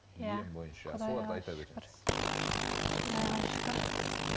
иә құдайға шүкір